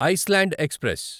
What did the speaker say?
Iceland express